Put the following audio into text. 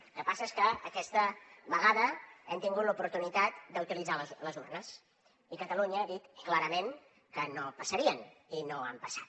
el que passa és que aquesta vegada hem tingut l’oportunitat d’utilitzar les urnes i catalunya ha dit clarament que no passarien i no han passat